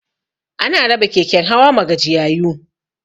Ana raba keken hawa ma gajiyayu